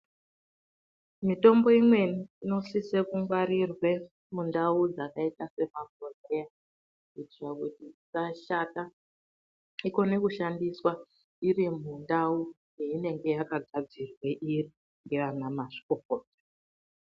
Mitombo imweni inosisa kungwarirwe mundau dzakaita semabhodhleya kuitire kuti isashata ikone kushandiswa iri mundau yayakagadzirwa iri ndiana mazvikokota.